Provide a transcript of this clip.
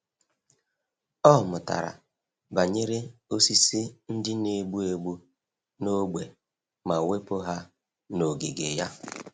Ọ mụtara banyere osisi ndị na-egbu egbu n’ógbè ma wepụ ha n’ogige ya.